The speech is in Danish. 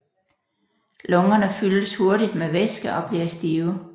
Lungerne fyldes hurtigt med væske og bliver stive